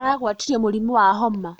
Aragwatirio mũrimũ wa homa